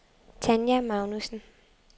Tanja Magnussen